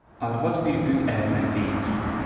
Arvad bir gün ərinə deyir: